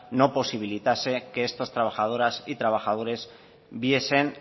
no posibilitase que estas trabajadoras y trabajadores viesen